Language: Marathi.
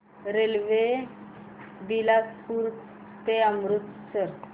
रेल्वे बिलासपुर ते अमृतसर